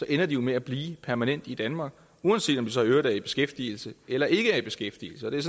ender jo med at blive permanent i danmark uanset om de så i øvrigt er i beskæftigelse eller ikke er i beskæftigelse det